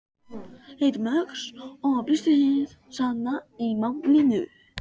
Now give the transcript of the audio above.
Leit um öxl og upplýsti hið sanna í málinu: